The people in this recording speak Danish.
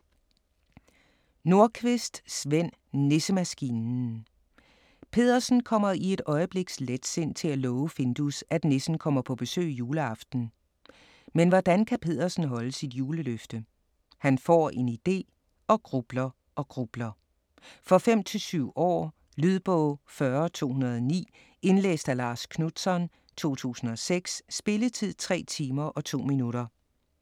Nordqvist, Sven: Nissemaskinen Peddersen kommer i et øjebliks letsind til at love Findus, at nissen kommer på besøg juleaften. Men hvordan kan Peddersen holde sit juleløfte? Han får en idé - og grubler og grubler. For 5-7 år. Lydbog 40209 Indlæst af Lars Knutzon, 2006. Spilletid: 3 timer, 2 minutter.